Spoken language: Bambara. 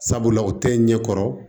Sabula o tɛ ɲɛ kɔrɔ